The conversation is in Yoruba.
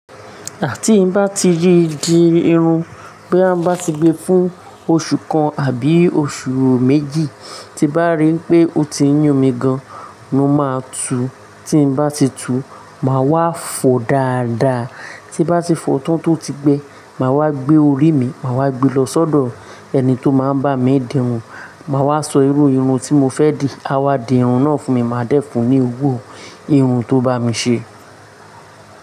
Ti bá ti rí di irun, boya mbá ti gbé fún oṣù kan àbí oṣù méjì, tí bá rí pé ó ti ń yún mi gan, mo máa tú. Tí n bá ti tú, màá wá fọ dáadáa. Tí bá ti fọ tán tó ti gbé, màá wá gbé orí mi, màá wá gbe lọ sọ́dọ̀ ẹni tó máa ń bá mi di irun, màá wá sọ irú irun tí mo fẹ́ dì, a wá dì irun náà fún mi, màá dẹ́fun ní gbogbo irun tó bá mi ṣe.